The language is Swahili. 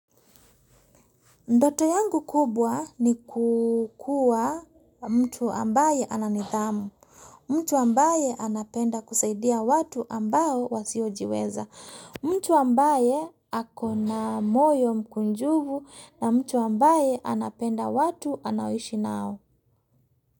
Ndoto yangu kubwa ni kuwa mtu ambaye ana nidhamu, mtu ambaye anapenda kusaidia watu ambao wasiojiweza, mtu ambaye akona moyo mkunjufu na mtu ambaye anapenda watu anaoishi nao.